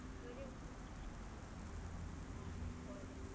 বল